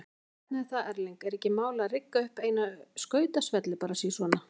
Hvernig er það Erling, er ekkert mál að rigga upp eina skautasvelli bara sí svona?